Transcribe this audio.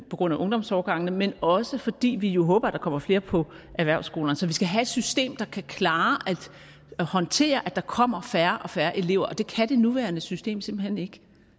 på grund af ungdomsårgangene men også fordi vi jo håber at der kommer flere på erhvervsskolerne så vi skal have et system der kan klare og håndtere at der kommer færre og færre elever og det kan det nuværende system simpelt hen ikke